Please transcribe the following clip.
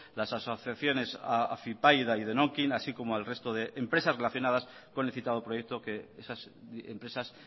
las asociaciones afypaida y denokin así como al resto de empresas relacionadas con el citado proyecto que esas empresas